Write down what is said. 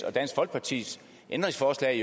og dansk folkepartis ændringsforslag